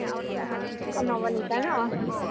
অ, Nabanita ন